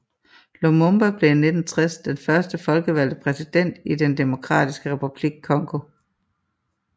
Lumumba blev i 1960 den første folkevalgte præsident i den Demokratiske Republik Congo